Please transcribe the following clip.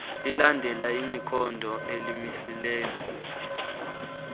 lilandela ikhondo elimisela